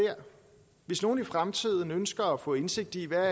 hvis nogen i fremtiden ønsker at få indsigt i hvad